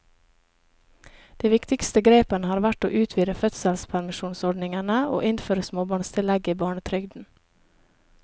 De viktigste grepene har vært å utvide fødselspermisjonsordningene og innføre småbarnstillegget i barnetrygden.